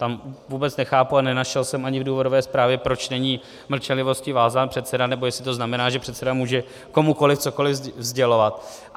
Tam vůbec nechápu a nenašel jsem ani v důvodové zprávě, proč není mlčenlivostí vázán předseda, nebo jestli to znamená, že předseda může komukoli cokoli sdělovat.